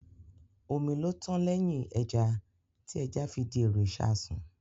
Omi ló tán lẹ́yìn ẹja, tí ẹja fi di èrò ìṣasùn